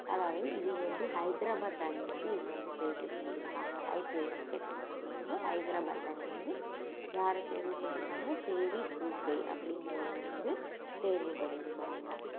அதாவது இது வந்து ஹைட்ரபாத் அணி வந்து இவங்க வந்து தேர்வு செஞ்சிருக்காங்க IPL கிரிக்கெட் match ல வந்து ஹைட்ரபாத் அணியில இருந்து யாரை தேர்வு பண்ணியிருக்காங்க அப்படிங்கிறவரை வந்து தேர்வு பண்ணியிருக்கிறாங்க